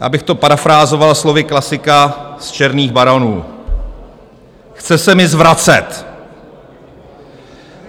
Abych to parafrázoval slovy klasika z Černých baronů: Chce se mi zvracet.